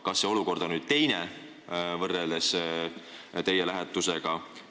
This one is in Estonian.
Kas see olukord on teine võrreldes teie lähetusega?